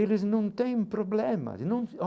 Eles não têm problemas não.